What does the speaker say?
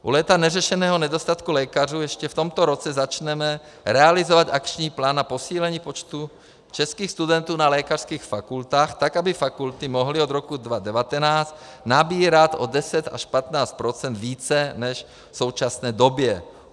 U léta neřešeného nedostatku lékařů ještě v tomto roce začneme realizovat akční plán na posílení počtu českých studentů na lékařských fakultách tak, aby fakulty mohly od roku 2019 nabírat o 10 až 15 % více než v současné době.